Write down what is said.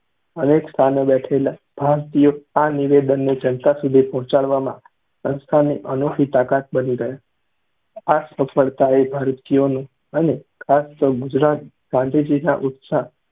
અનેક સ્થાને બેઠેલા ભારતીયો આ નિવેદનને જનતા સુધી પહોંચાડવામાં સંસ્થાની અનોખી તાકાત બની ગયાં. આ સફળતાએ ભારતીયોનો અને ખાસ તો ગુજરાત ગાંધીજીના ઉત્સાહ